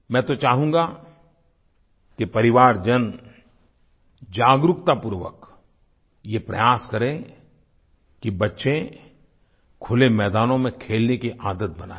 मैं तो चाहूँगा कि परिवारजन जागरूकतापूर्वक ये प्रयास करें कि बच्चे खुले मैदानों में खेलने की आदत बनाएं